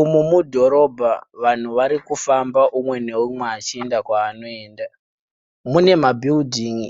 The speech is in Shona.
Umu mudhorobha vanhu varikufamba umwe neumwe achienda kwaanoenda. Mune mabhiridhingi